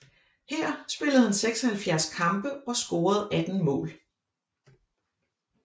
Her spillede han 76 kampe og scorede 18 mål